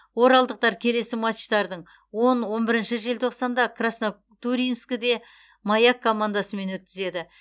оралдықтар келесі матчтардын он он бірінші желтоқсанда краснотурьинскіде маяк командасымен өткізеді